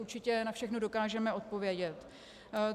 Určitě na všechno dokážeme odpovědět.